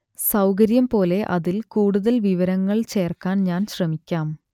സൗകര്യം പോലെ അതിൽ കൂടുതൽ വിവരങ്ങൾ ചേർക്കാൻ ഞാൻ ശ്രമിക്കാം